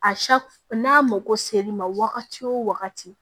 n'a mako se li ma wagati o wagati